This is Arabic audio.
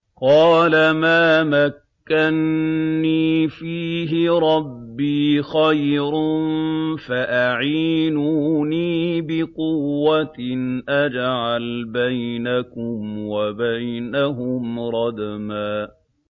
قَالَ مَا مَكَّنِّي فِيهِ رَبِّي خَيْرٌ فَأَعِينُونِي بِقُوَّةٍ أَجْعَلْ بَيْنَكُمْ وَبَيْنَهُمْ رَدْمًا